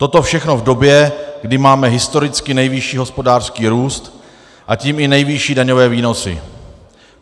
Toto všechno v době, kdy máme historicky nejvyšší hospodářský růst, a tím i nejvyšší daňové výnosy.